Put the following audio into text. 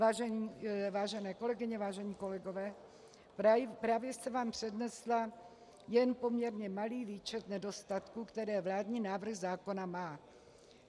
Vážené kolegyně, vážení kolegové, právě jsem vám přednesla jen poměrně malý výčet nedostatků, které vládní návrh zákona má.